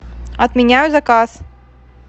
отменяю заказ